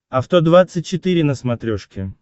авто двадцать четыре на смотрешке